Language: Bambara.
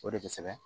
O de bɛ kosɛbɛ